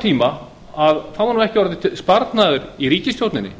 tíma hefur ekki orðið sparnaður í ríkisstjórninni